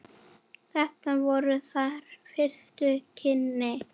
Þetta voru þeirra fyrstu kynni.